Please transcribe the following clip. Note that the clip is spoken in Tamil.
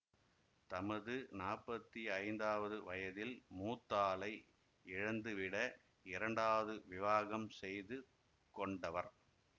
தமது நாற்பத்தி ஐந்தாவது வயதில் மூத்தாளை இழந்துவிட இரண்டாவது விவாகம் செய்து கொண்டவர்